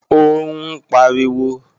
Ó ń pariwo